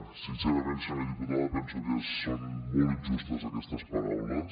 sincerament senyora diputada penso que són molt injustes aquestes paraules